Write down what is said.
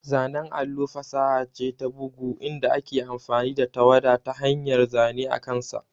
Zanen allo fasaha ce ta bugu inda ake amfani da tawada ta hanyar zane akansa.